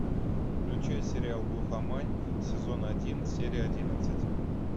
включай сериал глухомань сезон один серия одиннадцать